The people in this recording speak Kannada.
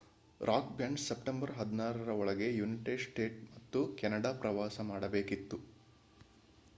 ರಾಕ್ ಬ್ಯಾಂಡ್ ಸೆಪ್ಟೆಂಬರ್ 16 ರ ಒಳಗೆ ಯುನೈಟೆಡ್ ಸ್ಟೇಟ್ಸ್ ಮತ್ತು ಕೆನಡಾ ಪ್ರವಾಸ ಮಾಡಬೇಕಿತ್ತು